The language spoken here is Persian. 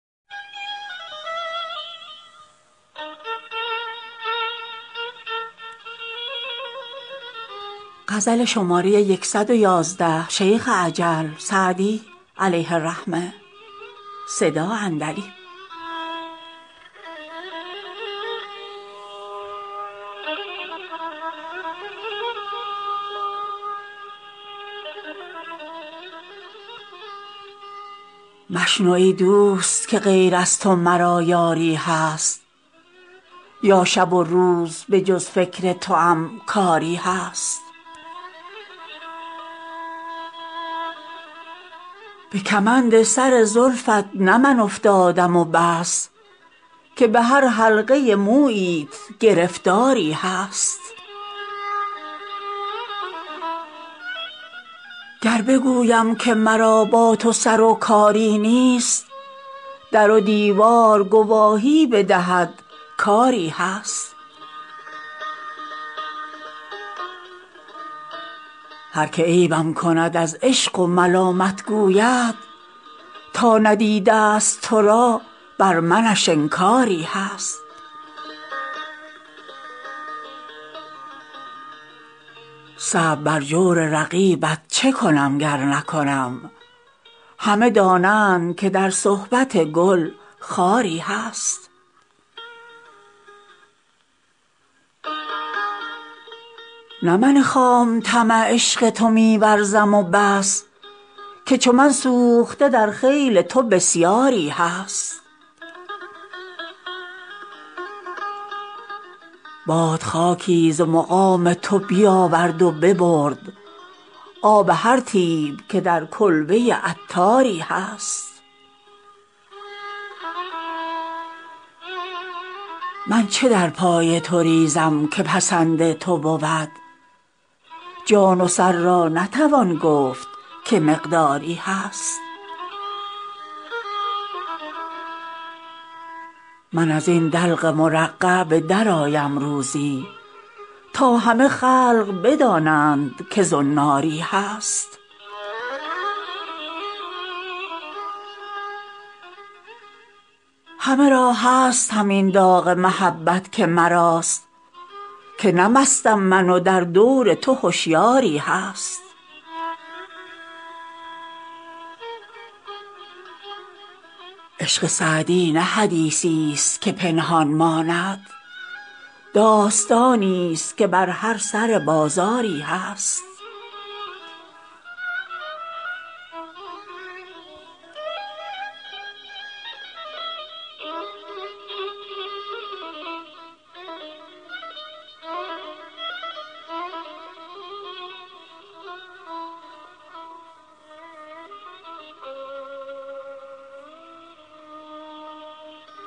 مشنو ای دوست که غیر از تو مرا یاری هست یا شب و روز به جز فکر توام کاری هست به کمند سر زلفت نه من افتادم و بس که به هر حلقه موییت گرفتاری هست گر بگویم که مرا با تو سر و کاری نیست در و دیوار گواهی بدهد کآری هست هر که عیبم کند از عشق و ملامت گوید تا ندیده است تو را بر منش انکاری هست صبر بر جور رقیبت چه کنم گر نکنم همه دانند که در صحبت گل خاری هست نه من خام طمع عشق تو می ورزم و بس که چو من سوخته در خیل تو بسیاری هست باد خاکی ز مقام تو بیاورد و ببرد آب هر طیب که در کلبه عطاری هست من چه در پای تو ریزم که پسند تو بود جان و سر را نتوان گفت که مقداری هست من از این دلق مرقع به درآیم روزی تا همه خلق بدانند که زناری هست همه را هست همین داغ محبت که مراست که نه مستم من و در دور تو هشیاری هست عشق سعدی نه حدیثی است که پنهان ماند داستانی است که بر هر سر بازاری هست